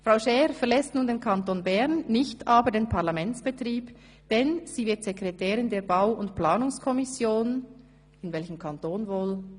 Frau Schär verlässt nun den Kanton Bern, nicht aber den Parlamentsbetrieb, denn sie wird Sekretärin der Bau- und Planungskommission – in welchem Kanton wohl?